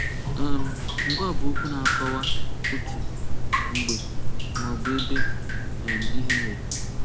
um Ngwaa bụ okwu na-akọwa otú, mgbe, maọbụ ebe um ihe mere